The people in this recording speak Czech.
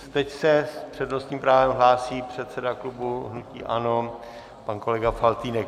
Teď se s přednostním právem hlásí předseda klubu hnutí ANO pan kolega Faltýnek.